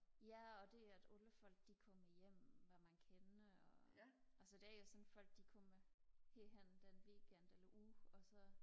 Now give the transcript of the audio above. ja og det at alle folk de kommer hjem når man kender og altså det er jo sådan folk de kommer helt hen den weekend eller uge og så